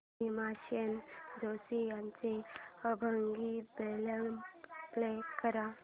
भीमसेन जोशी यांचा अभंग album play कर